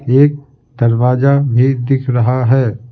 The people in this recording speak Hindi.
एक दरवाजा भी दिख रहा है ।